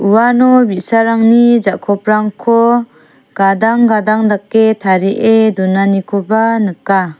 uano bi·sarangni ja·koprangko gadang gadang dake tarie donanikoba nika.